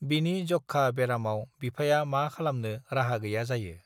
बिनि जक्षा बेरामाव बिफाया मा खालामनो राहा गैया जायो